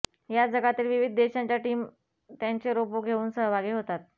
यात जगातील विविध देशांच्या टीम त्यांचे रोबो घेऊन सहभागी होतात